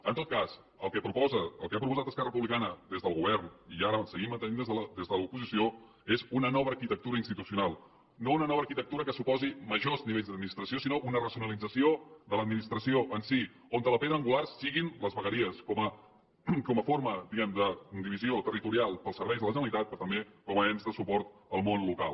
en tot cas el que proposa el que ha proposat esquerra republicana des del govern i ara ho seguim mantenint des de l’oposició és una nova arquitectura institucional no una nova arquitectura que suposi majors nivells d’administració sinó una racionalització de l’administració en si on la pedra angular siguin les vegueries com a forma diguem ne de divisió territorial al servei de la generalitat però també com a ens de suport al món local